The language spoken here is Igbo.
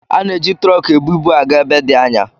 Ana-eji tụrọkụ ebu ibu aga ebe dị anya